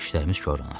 İşlərimiz korlanar.